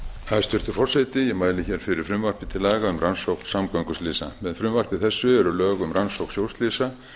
hæstvirtur forseti ég mæli fyrir frumvarpi til laga um rannsókn samgönguslysa með frumvarpi þessu eru lög um rannsókn sjóslysa